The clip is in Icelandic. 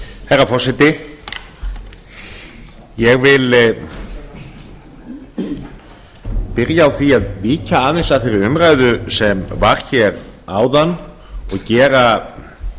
herra forseti ég vil byrja á því að víkja aðeins að þeirri umræðu sem var hér áðan og gera